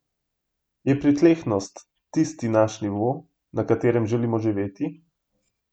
Je pritlehnost tisti naš nivo, na katerem želimo živeti?